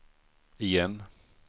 igen